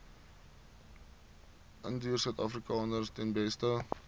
indiërsuidafrikaners ten beste